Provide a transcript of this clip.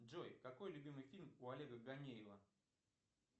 джой какой любимый фильм у олега ганеева